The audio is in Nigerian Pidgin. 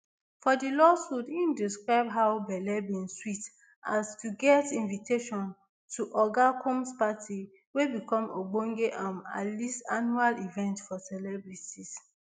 for di lawsuit im describe how belle bin sweet am to get invitation to oga combs party wey become ogbonge um alist annual event for celebrities